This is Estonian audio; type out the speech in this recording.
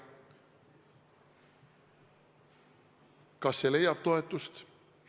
Kas see leiab toetust?